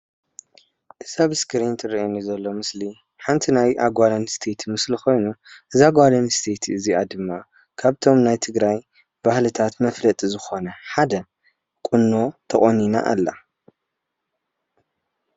እዚ ኣብ እስክሪን ዝረአየን ዘሎ ምስሊ ዝርእነ ዘሎ ኮይኑ ሓንት ናይ ጋል ኣንስተይቲ ምስል ኮይኑ እዛ ጋል ኣንስተይቲ ድማ ካብተን ናይ ትግራይ ባህልታት መፍለጢ ዝኾነ ሓደ ቁኖ ቶቆኒና ኣላ ።